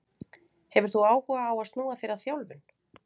Hefur þú áhuga á að snúa þér að þjálfun?